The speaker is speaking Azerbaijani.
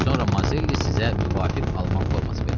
Sonra Mazelli sizə müvafiq alman forması verər.